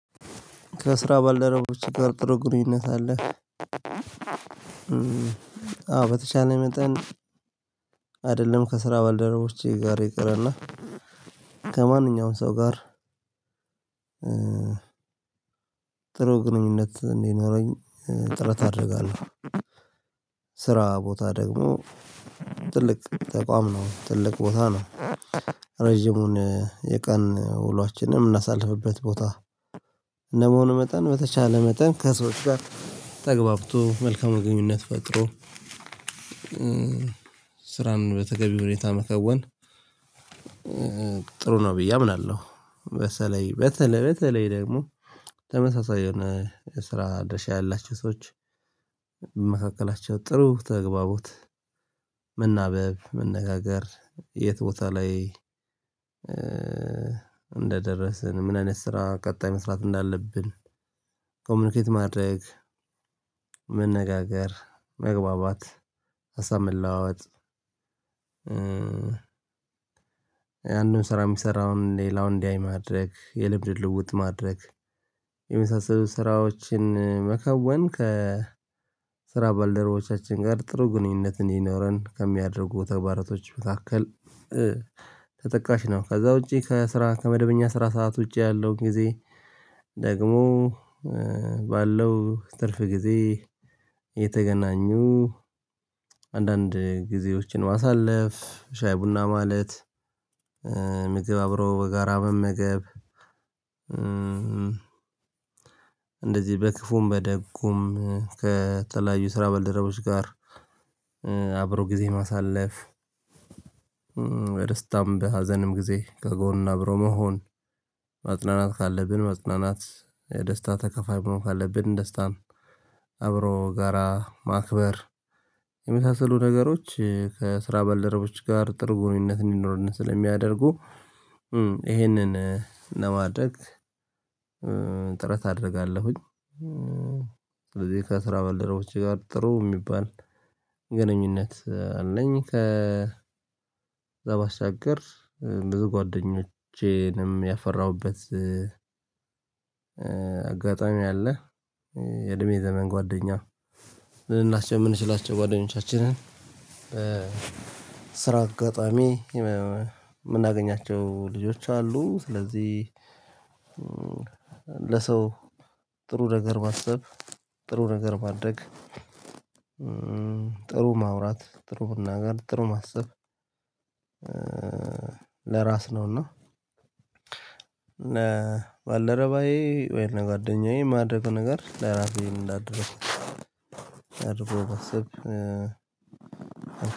ከ ስራ ባልደረቦችህ ጋር ጥሩ ግንኙነት አለህ? አዎ በተቻለ መጠን አይደለም ከስራ ባልደረቦቼ ጋር ይቅርና ከማንኛውም ሰው ጋር ጥሩ ግንኙነት እንዲኖረኝ ጥረት አደርጋለሁ። ስራ ቦታ ደግሞ ትልቅ ተቋም ነው። ትልቅ ቦታ ነው። ረጅሙን የቀን ውሏችንን የምናሳልፍበት ቦታ እንደመሆኑ መጠን በተቻለ መጠን ከሰዎች ጋር ተግባብቶ፣ መልካም መገኙነት ፈጥሮ ስራን በተገቢው ሁኔታ መከወን ጥሩ ነው ብዬ አምናለሁ በተለይ በተለይ በተለይ ደግሞ ተመሳሳይ የሆነ የስራ ድርሻ ያላቸው ሰዎች በመካከላቸው ጥሩ ተግባቦት መናበብ መነጋገር የት ቦታ ላይ እንደደረስን ምን አይነት ስራ ቀጣይ መስራት እንዳለብን ኮምኒኬት ማድረግ መነጋገር፣ መግባባት፣ ሀሳብ መለዋወጥ አንድን ስራ የሚሰራውን ሌላውን እንዲያይ ማድረግ፣ የልምድ ልውዉጥ ማድረግ የመሳሰሉ ስራዎችን መከወን ከ ስራ ባልደረቦቻችን ጋር ጥሩ ግንኙነት እንዲኖረን ከሚያደርጉ ተግባራቶች መካከል ተጠቃሽ ነው። ከዛ ውጪ ከመደበኛ ስራ ሰዓት ውጪ ያለው ጊዜ ደግሞ ባለው ትርፍ ጊዜ የተገናኙ አንዳንድ ጊዜዎችን ማሳለፍ፣ ሻይ ቡና ማለት ምግብ አብረው በጋራ መመገብ እንደዚህ በክፉም በደጉም ከተለያዩ ስራ በልደረቦች ጋር አብሮ ጊዜ ማሳለፍ በደስታም፣ በሀዘንም ጊዜ ከጎን አብሮ መሆን ማጽናናት ካለብን መጽናናት የደስታ ተከፋይ መሆን ካለብን ደስታን አብሮ ጋራ ማክበር የመሳሰሉ ነገሮች ከስራ በልደረቦች ጋር ጥሩ ግንኙነት እንዲኖርን ስለሚያደርጉ ይሄንን እንደማድረግ ጥረት አደርጋለሁኝ። ስለዚህ ከስራ በልደርቦቼ ጋር ጥሩ የሚባል ግንኙነት አለኝ ከዛ ባሻገር ብዙ ጓደኞቼንም ያፈራሁበት አጋጣሚ አለ የእድሜ ዘመን ጓደኛው ልናሽ የምንችላቸው ጓደኞቻችንን በስራ አጋጣሚ የምናገኛቸው ልጆች አሉ ስለዚህ ለሰው ጥሩ ነገር ማሰብ፣ ጥሩ ነገር ማድርግ ጥሩ ማውራት ጥሩ ቡና ጋር ጥሩ ማሰብ ነውና ባልደረባዬ ወይም ለጓደኛዬ ማድርገው ነገር ለራሴ እንዳደርኩ አድርጎ የማሰብ